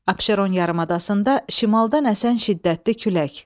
Abşeron yarımadasında şimaldan əsən şiddətli külək.